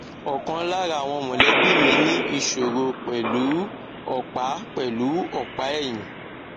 ọkan lára àwọn mọlẹbi mi ní ìṣòro pẹlú u ọpa pẹlú u ọpa ẹyìn